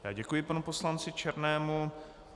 Já děkuji panu poslanci Černému.